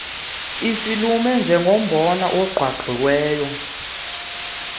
isilume njengombona ogqwagqwiweyo